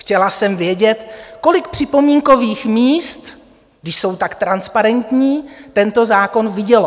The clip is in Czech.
Chtěla jsem vědět, kolik připomínkových míst, když jsou tak transparentní, tento zákon vidělo.